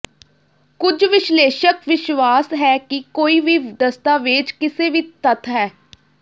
ਕੁਝ ਵਿਸ਼ਲੇਸ਼ਕ ਵਿਸ਼ਵਾਸ ਹੈ ਕਿ ਕੋਈ ਵੀ ਦਸਤਾਵੇਜ਼ ਕਿਸੇ ਵੀ ਤੱਥ ਹੈ